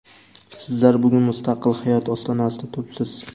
Sizlar bugun mustaqil hayot ostonasida turibsiz.